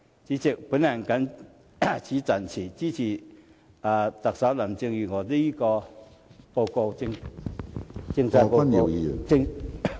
主席，我謹此陳辭，支持特首林鄭月娥的施政報告。